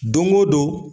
Don o don